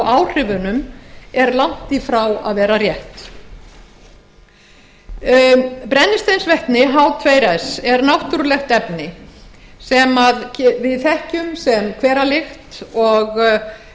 á áhrifunum er langt í frá að vera rétt brennisteinsvetni h tvö s er náttúrulegt efni sem við þekkjum sem hveralykt og